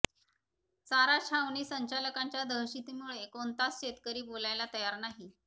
चारा छावणी संचालकांच्या दहशतीमुळे कोणताच शेतकरी बोलायला तयार नाही